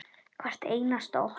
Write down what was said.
Hvert einasta okkar.